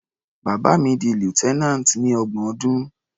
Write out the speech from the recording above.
Bàbá mi di lieutenant ní ọgbọ̀n ọdún.